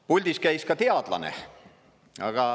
Puldis käis ka teadlane.